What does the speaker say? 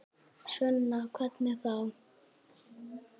Sunna: Hvernig þá?